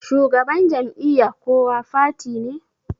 shugaban Jam'iyya kowa fati ne